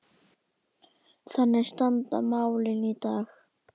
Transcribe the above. Þannig standa málin í dag.